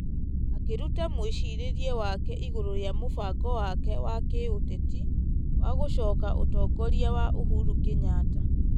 Akĩruta mwĩcirĩria wake igũrũ rĩa mũbango wake wa gĩũteti wa gũcooka ũtongoria wa Uhuru Kenyatta.